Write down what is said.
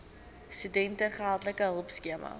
studente geldelike hulpskema